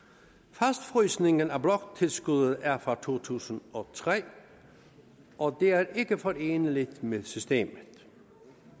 fastfrysningen af bloktilskuddet er fra to tusind og tre og det er ikke foreneligt med systemet